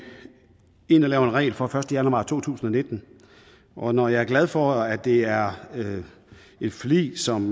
ind og laver en regel fra den første januar to tusind og nitten og når jeg er glad for at det er et forlig som